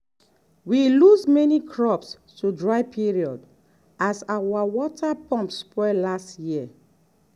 we lose many crops to dry period as our water pump spoil last year.